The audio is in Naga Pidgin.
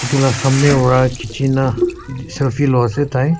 etu laa samne para khichina selfie loa ase tai.